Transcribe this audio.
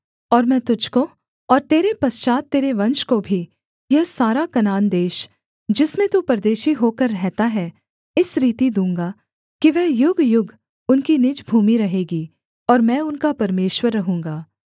और मैं तुझको और तेरे पश्चात् तेरे वंश को भी यह सारा कनान देश जिसमें तू परदेशी होकर रहता है इस रीति दूँगा कि वह युगयुग उनकी निज भूमि रहेगी और मैं उनका परमेश्वर रहूँगा